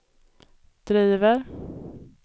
driver